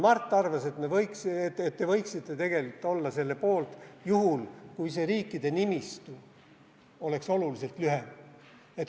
Mart arvas, et te võiksite tegelikult olla selle poolt juhul, kui see riikide nimistu oleks oluliselt lühem.